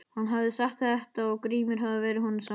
Hann hafði sagt þetta og Grímur hafði verið honum sammála.